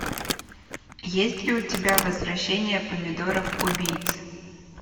есть ли у тебя возвращение помидоров убийц